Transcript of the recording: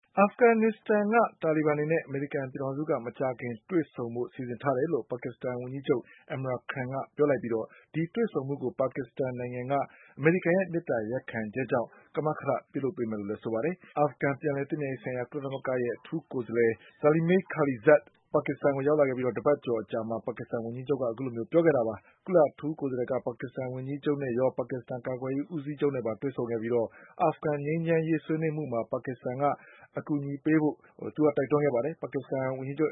အာဖဂန်နစ္စတန်က တာလီဘန်တွေနဲ့အမေရိကန်ပြည်ထောင်စုက မကြာခင် တွေ့ဆုံဖို့စီစဉ်ထားတယ် လို့ ပါကစ္စတန်ဝန်ကြီးချုပ် Imran Khan ကပြောလိုက်ပြီး ဒီတွေ့ဆုံမှုကို ပါကစ္စတန်နိုင်ငံက အမေရိကန်ရဲ့ မေတ္တာ ရပ်ခံချက်ကြောင့် ကမကထ လုပ်ပေးမှာလို့ လည်းဆိုပါတယ်။ အာဖဂန်နစ္စတန်ပြန်လည်သင့်မြတ်ရေးဆိုင်ရာ ကုလသမဂ္ဂရဲ့အထူးကိုယ်စားလှယ် Zalmay Khalilzad ပါကစ္စတန်ကိုလာရောက်ခဲ့ပြီး တပတ်ကျော်အကြာမှာ ပါကစ္စတန်ဝန်ကြီးချုပ်ကအခုလိုပြောလာတာပါ။ ကုလအထူးကိုယ်စားလှယ်ဟာ ပါကစ္စတန်ဝန်ကြီးချုပ်နဲ့ရော ပါကစ္စန်ကာကွယ်ရေးဦးစီးချုပ်နဲ့ရော တွေ့ဆုံခဲ့ပြီး အာဖဂန် ငြိမ်းချမ်းရေးဆွေးနွေးမှုမှာ ပါဝင်ကူညီဖို့လည်း တိုက်တွန်းခဲ့ပါတယ်။ ပါကစ္စတန်ဝန်ကြီးချုပ်